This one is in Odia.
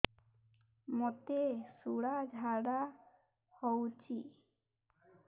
ମୋତେ ଶୂଳା ଝାଡ଼ା ହଉଚି